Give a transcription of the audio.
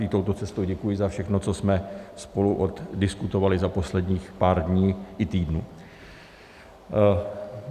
I touto cestou děkuji za všechno, co jsme spolu oddiskutovali za posledních pár dní i týdnů.